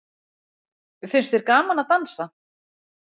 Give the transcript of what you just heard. Finnst þér gaman að dansa?